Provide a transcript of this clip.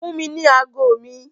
Fún mi ní ago mi!